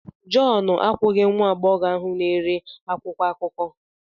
John akwụghị nwa agbọghọ ahụ na-ere akwụkwọ akụkọ.